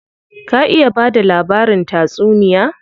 Ka iya bada labarin tatsuniya?